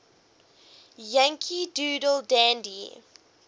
yankee doodle dandy